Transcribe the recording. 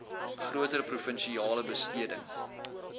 groter provinsiale besteding